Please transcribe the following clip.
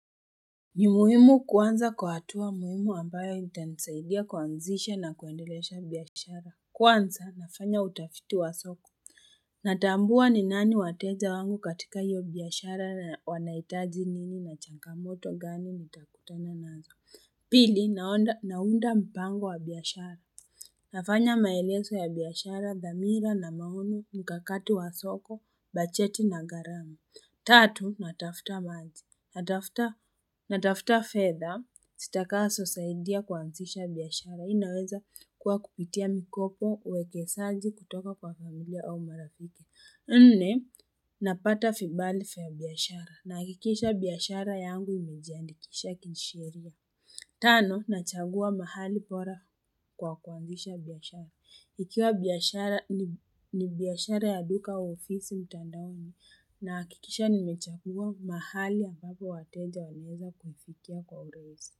Ni muhimu kuanza kwa hatua muhimu ambayo itanisaidia kuanzisha na kuendelesha biashara Kwanza nafanya utafiti wa soko Natambua ni nani wateja wangu katika hiyo biashara na wanaitaji nini na changamoto gani nitakutana nazo Pili naonda naunda mpango wa biashara nafanya maelezo ya biashara dhamira na mauno mkakato wa soko bajeti na garama Tatunatafuta maji. Natafuta fedha sitakazo saidia kuanzisha biashara inaweza kuwa kupitia mikopo uwekesaji kutoka kwa familia au marafiki Nne napata vibali vya biashara nahikisha biashara yangu imejiandikisha kisheria Tano nachagua mahali bora kwa kuanzisha biashara Ikiwa biashara ni biashara ya duka au ofisi mtandaoni nahakikisha nimechagua mahali ambapo wateja wataweza kuifikia kwa uraisi.